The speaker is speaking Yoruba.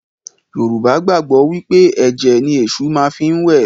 Yorùbá gbàgbọ́ wí pé ẹ̀jẹ̀ ni Èṣù má fi ń wẹ̀